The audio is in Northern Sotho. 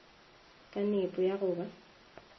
ka nepo ya go ba